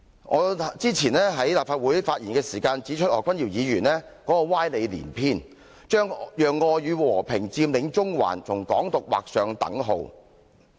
我早前在立法會發言的時候指出，何君堯議員歪理連篇，將讓愛與和平佔領中環跟"港獨"劃上等號。